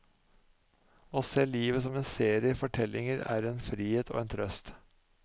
Å se livet som en serie fortellinger er en frihet og en trøst.